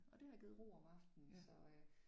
Og det har givet ro om aftenen så øh